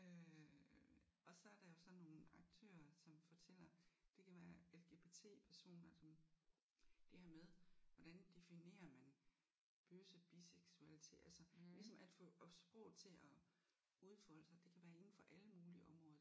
Øh og så er der jo sådan nogle aktører som fortæller det kan LGBT-personer som det her med hvordan definerer man bøsse biseksualitet altså ligesom at få sproget til at udfolde sig det kan være inden for alle mulige områder